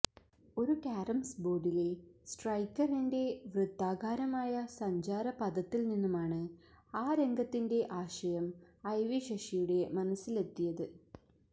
ഒരു കാരംസ് ബോർഡിലെ സ്ട്രൈക്കറിന്റെ വൃത്താകാരമായ സഞ്ചാരപഥത്തിൽ നിന്നുമാണ് ആ രംഗത്തിന്റെ ആശയം ഐ വി ശശിയുടെ മനസിലെത്തിയത്